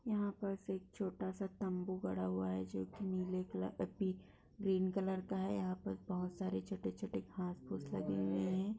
यहा पर सिर्फ छोटा-सा तम्बू गड़ा हुआ है जो की नीले कलर पी ग्रीन का है यहा पर बहोत सारे छोटे-छोटे घास-पुस लगे हुए है ।